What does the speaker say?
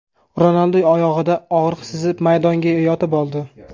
Ronaldu oyog‘ida og‘riq sezib maydonga yotib oldi.